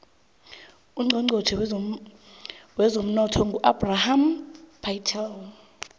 ucnchonchotjhe wezemnotho ngu ebrahim patel